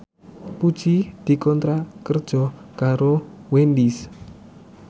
Puji dikontrak kerja karo Wendys